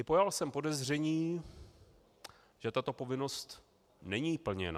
I pojal jsem podezření, že tato povinnost není plněna.